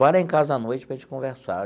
Vá lá em casa à noite para a gente conversar.